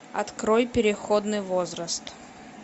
открой переходный возраст